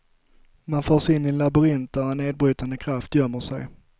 Man förs in i en labyrint, där en nedbrytande kraft gömmer sig.